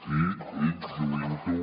i ell lluint ho